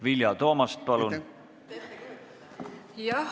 Vilja Toomast, palun!